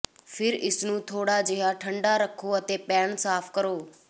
ਫਿਰ ਇਸਨੂੰ ਥੋੜਾ ਜਿਹਾ ਠੰਡਾ ਰੱਖੋ ਅਤੇ ਪੈਨ ਸਾਫ਼ ਕਰੋ